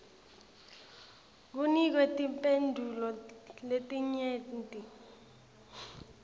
kunikwe timphendvulo letinyenti